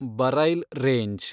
Braille range